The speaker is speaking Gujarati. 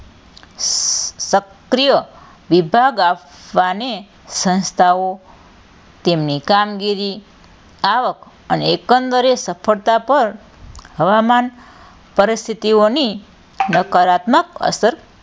સક્રિય વિભાગ આપવાને સંસ્થાઓ તેમની કામગીરી આવક અને એકંદરે સફળતા પર હવામાંન પરિસ્થિતિઓની નકારાત્મક અસર,